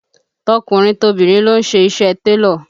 Tọkùnrin tobìnrin ló ń ṣe iṣẹ́ télọ̀